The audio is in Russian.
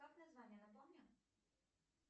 как название напомни